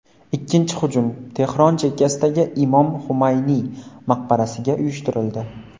Ikkinchi hujum Tehron chekkasidagi Imom Xumayniy maqbarasiga uyushtirildi.